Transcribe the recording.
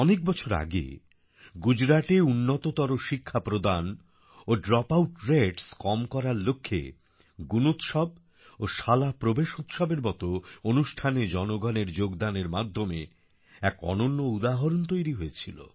অনেক বছর আগে গুজরাটে উন্নততর শিক্ষা প্রদান ও ড্রপআউট রেটস কম করার লক্ষ্যে গুণোৎসব ও শালা প্রবেশোৎসবএর মতো অনুষ্ঠানে জনগণের যোগদানের মাধ্যমে এক অনন্য উদাহরণ তৈরি হয়েছিল